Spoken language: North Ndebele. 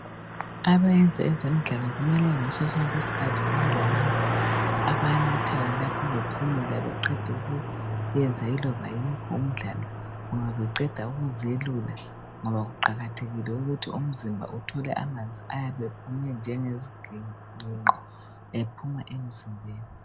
Abayenza ngezemidlalo kumele ngaso sonke isikhathi bebe lamanzi abanathayo lapha bephumula beqeda ukuyenza loba yiwuphi umdlalo loba beqeda ukuziyelula ngoba kuqakathekile ukuthi umzimba uthola amanzi ayabe ephume njengeziginqo ephuma emzimbeni